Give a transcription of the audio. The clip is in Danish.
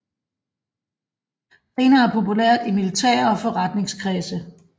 Senere populært i militære og forretningskredse